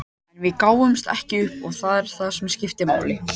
En við gáfumst ekki upp og það er það sem skiptir máli.